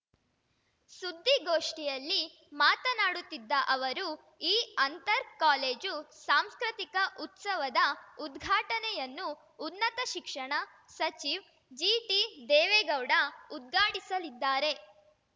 ಸುದ್ದಿಗೋಷ್ಠಿಯಲ್ಲಿ ಮಾತನಾಡುತ್ತಿದ್ದ ಅವರು ಈ ಅಂತರ್ ಕಾಲೇಜು ಸಾಂಸ್ಕೃತಿಕ ಉತ್ಸವದ ಉದ್ಘಾಟನೆಯನ್ನು ಉನ್ನತ ಶಿಕ್ಷಣ ಸಚಿವ್ ಜಿಟಿ ದೇವೇಗೌಡ ಉದ್ಘಾಟಿಸಲಿದ್ದಾರೆ